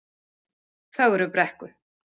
Fögrubrekku